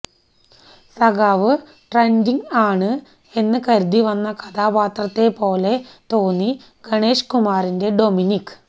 സഖാവ് ട്രെൻഡിങ് ആണ് എന്ന് കരുതി വന്ന കഥാപാത്രത്തെ പോലെ തോന്നി ഗണേഷ് കുമാറിന്റെ ഡൊമിനിക്ക്